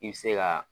I bɛ se ka